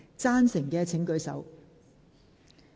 贊成的請舉手。